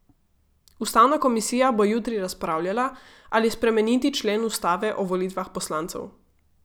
Ustavna komisija bo jutri razpravljala, ali spremeniti člen ustave o volitvah poslancev.